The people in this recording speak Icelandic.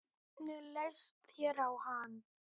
En blindan var æxli.